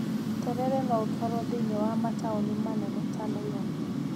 Terere no ũtwarwo thĩiniĩ wa mataũni manene ta Nairobi.